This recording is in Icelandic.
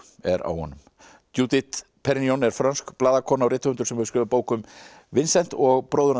er á honum judith Perrignon er frönsk blaðakona og rithöfundur sem hefur skrifað bók um Vincent og bróður hans